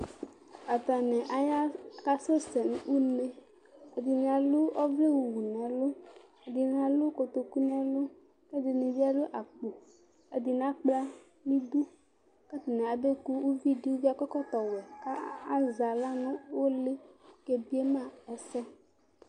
Atani aya kasɛsɛ nʋ une, ɛdini alʋ ɔvlɛwʋ nʋ ɛlʋ, ɛdini alʋ kotokʋ nʋ ɛlʋ, kʋ ɛdini bi alʋ akpo Ɛdini akpla nʋ idʋ, kʋ atani abekʋ ʋvidi kʋ akɔ ɛkɔtɔwɛ kʋ azɛ aɣla nʋ ʋlɩ kʋ ɔkebiema ɛsɛsɛ